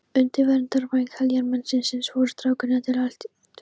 Undir verndarvæng heljarmennisins voru strákarnir til í allt.